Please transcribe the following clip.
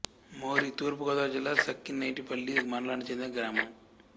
మోరి తూర్పు గోదావరి జిల్లా సఖినేటిపల్లి మండలానికి చెందిన గ్రామం